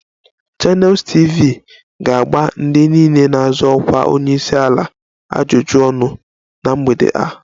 Channels TV ga-agba ndị niile na-azọ ọkwa onye isi ala ajụjụ ọnụ na mgbede a